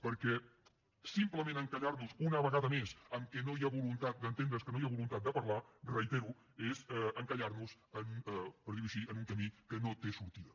perquè simplement encallar nos una vegada més en el fet que no hi ha voluntat d’entendre’ns que no hi voluntat de parlar ho reitero és encallar nos en per dir ho així un camí que no té sortida